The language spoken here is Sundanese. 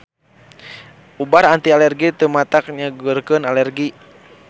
Ubar anti alergi teu matak nyageurkeun alergi.